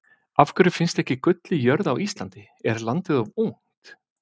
Af hverju finnst ekki gull í jörðu á Íslandi, er landið of ungt?